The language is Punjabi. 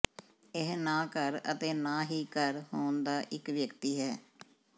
ਇਹ ਨਾ ਘਰ ਅਤੇ ਨਾ ਹੀ ਘਰ ਹੋਣ ਦਾ ਇੱਕ ਵਿਅਕਤੀ ਹੈ